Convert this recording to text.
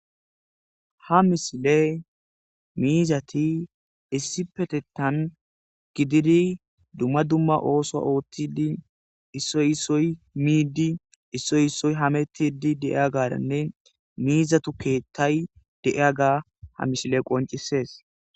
Ha misile miizati issi petettan gididi dumma dumma ooso oothtidi issoy issoy miidi issoy issoy hametidi deiyagaranne miizatu keettay deiyaga ha misile qoncisees.